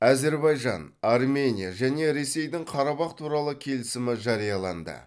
әзербайжан армения және ресейдің қарабах туралы келісімі жарияланды